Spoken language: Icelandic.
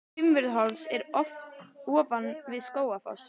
Fimmvörðuháls er ofan við Skógafoss.